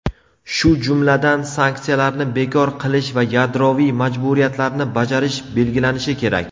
shu jumladan "sanksiyalarni bekor qilish va yadroviy majburiyatlarni bajarish" belgilanishi kerak.